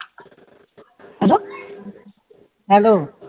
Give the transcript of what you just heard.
hello